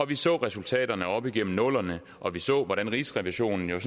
vi så resultaterne op igennem nullerne og vi så hvordan rigsrevisionen jo